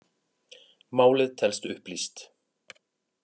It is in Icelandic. Málið telst upplýst